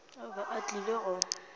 o be a tlile go